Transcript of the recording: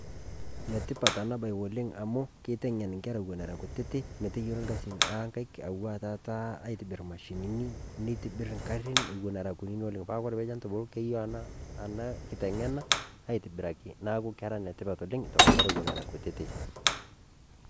Neetipaat ana baayi oleng amu keiteng'en nkerra wuen era nkutiti meeteyielo lkaasin le nkaiiki awua taata aitibiir mashinini, neitibirr nkaari wuen era nkutiti oleng. Paa kore kenya peeitubuluu keiyoo ana kiteng'ena aitibiraki naaku kera netipaat oleng to nkerra wuen enkerra wuen era nkutiti.